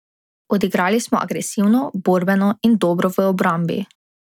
Odigrali smo agresivno, borbeno in dobro v obrambi.